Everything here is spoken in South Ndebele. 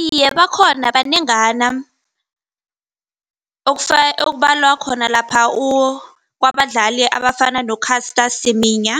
Iye bakhona banengana ekubalwa khona lapha kwabadlali abafana no-Caster Semenya